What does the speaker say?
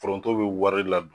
Foronto bɛ wari la